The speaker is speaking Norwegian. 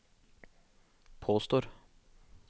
påstår